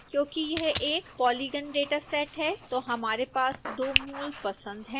क्योंकि यह एक पॉलीगन डेटासेट है तो हमारे पास दो मूल पसंद हैं